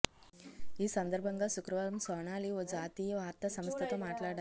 ఈ సందర్భంగా శుక్రవారం సోనాలి ఓ జాతీయ వార్తా సంస్థతో మాట్లాడారు